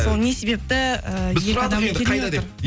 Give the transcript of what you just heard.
сол не себепті эээ екі адам келмей отыр